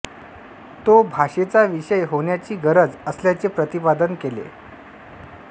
तो भाषेचा विषय होण्याची गरज असल्याचे प्रतिपादन केले